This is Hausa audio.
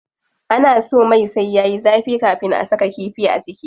Ana so mai sai yayi zafi kafin a saka kifi a ciki.